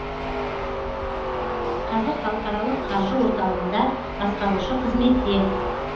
қазір халықаралық қаржы орталығында басқарушы қызметте